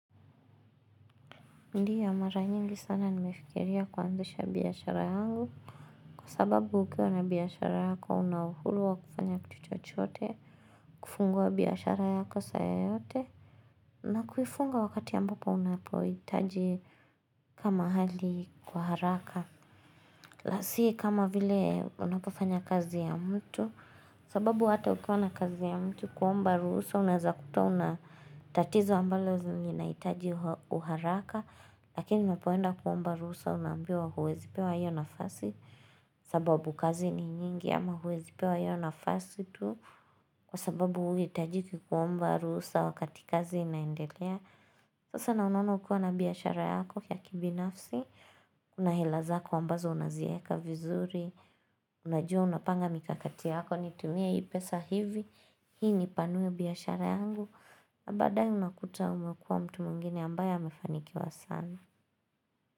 Ndio mara nyingi sana nimefikiria kuanzisha biashara yangu. Kwa sababu ukiwa na biashara yako una uhuru wa kufanya kitu chochote. Kufungua biashara yako saa yoyote. Na kufunga wakati ambapo unapohitaji kama hali kwa haraka. Na si kama vile unapofanya kazi ya mtu. Sababu hata ukiwa na kazi ya mtu kuomba ruhusa unaeza kuta una tatizo ambalo zinahitaji uharaka. Lakini unapoenda kuomba ruhusa unaambiwa huwezi pewa hiyo nafasi sababu kazi ni nyingi ama huwezi pewa hiyo nafasi tu, kwa sababu huihitajiki kuomba ruhusa wakati kazi inaendelea. Sasa na unaona ukiwa na biashara yako ya kibinafsi Una hela zako ambazo unazieka vizuri, Unajua unapanga mikakati yako, nitumie hii pesa hivi Hii nipanue biashara yangu na baadaye unakuta umekuwa mtu mwingine ambaye amefanikiwa sana.